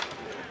Hələ.